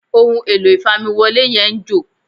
ohun èlò ìfamiwọlé yẹn ń jò